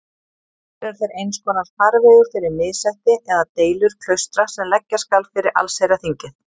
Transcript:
Loks eru þeir einskonar farvegur fyrir missætti eða deilur klaustra sem leggja skal fyrir allsherjarþingið.